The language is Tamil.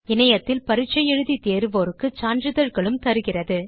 இணையத்தில் பரிட்சை எழுதி தேர்வோருக்கு சான்றிதழ்களும் தருகிறது